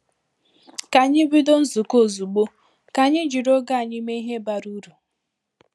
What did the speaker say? Ka ànyị bido nzukọ ozugbo, ka anyị jiri oge anyị mee ihe bara uru.